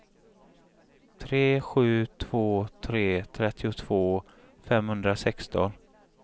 tre sju två tre trettiotvå femhundrasexton